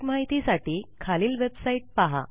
अधिक माहिती साठी खालील वेबसाईट पहा